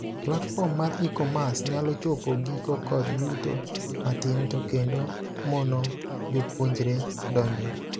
Platform mar e-commerce nyalo chopo giko kod yuto matin to kendo mono jopuonjre donjoe.